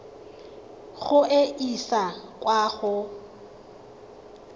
go e isa kwa go